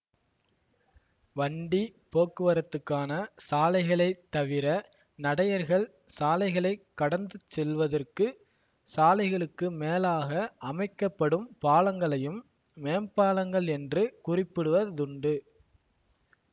வண்டி போக்குவரத்துக்கான சாலைகளைத் தவிர நடையர்கள் சாலைகளைக் கடந்து செல்வதற்கு சாலைகளுக்கு மேலாக அமைக்க படும் பாலங்களையும் மேம்பாலங்கள் என்று குறிப்பிடுவதுண்டு